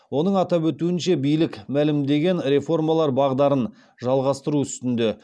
оның атап өтуінше билік мәлімдеген реформалар бағдарын жалғастыру үстінде